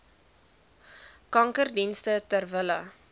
kankerdienste ter wille